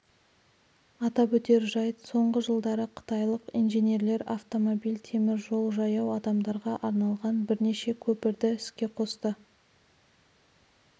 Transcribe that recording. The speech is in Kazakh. атап өтер жайт соңғы жылдары қытайлық инженерлер автомобиль теміржол жаяу адамдарға арналған бірнеше көпірді іске қосты